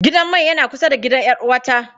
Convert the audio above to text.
Gidan mai yana kusa da gidan 'yar'uwata.